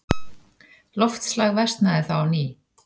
Loftslag versnaði þá á ný.